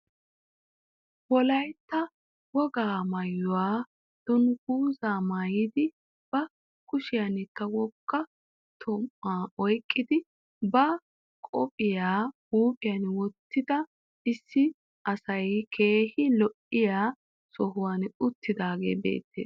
Wolaytta wogaa maayuwaa dunguzzaa maayidi ba kushiyaankka wogga toomaa oyqqidi ba qophiyaa huphphiyaan wottida issi aaway keehi lo"iyaa sohuwaan uttidagee beettees.